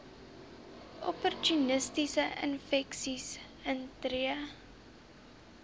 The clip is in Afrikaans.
opportunistiese infeksies intree